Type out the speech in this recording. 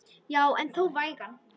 Já en þó vægan.